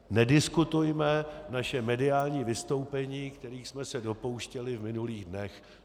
Nediskutujme naše mediální vystoupení, kterých jsme se dopouštěli v minulých dnech.